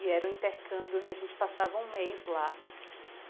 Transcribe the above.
E era um intercâmbio onde a gente passava um mês lá.